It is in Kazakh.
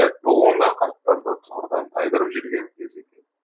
дәп бұл онда қарттарды түғырдан тайдырып жүрген кезі екен